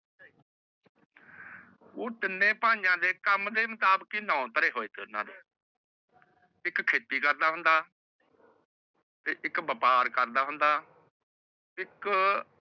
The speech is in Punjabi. ਓਹ ਤੀਨੇ ਬੀਯ ਦੇ ਕਾਮ ਤੇਹ ਮੁਤਾਬਿਕ ਦੋਨੋ ਦੇ ਏਕ ਕਹਿਤੀ ਕਰਦਾ ਹੋਂਦਾ ਤੇਹ ਏਕ ਵੈਪਰ ਕਰਦਾ ਹੋਂਦਾ